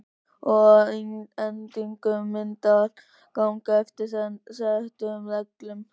Og að endingu mun allt ganga eftir settum reglum.